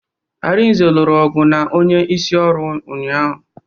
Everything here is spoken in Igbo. Arinze lụrụ ọgụ na onye isi ọrụ ụnyaahụ